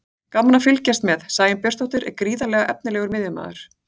Gaman að fylgjast með: Sæunn Björnsdóttir er gríðarlega efnilegur miðjumaður.